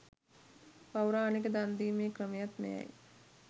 පෞරාණික දන්දීමේ ක්‍රමයත් මෙයයි.